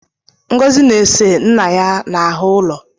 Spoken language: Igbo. Ngozi na-ese nna ya n,ahụ ụlọ